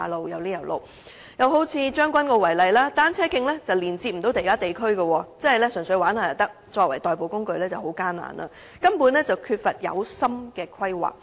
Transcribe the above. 又以將軍澳為例，單車徑不能連接其他地區，純屬玩樂，作為代步工具則很艱難，根本缺乏有心的規劃。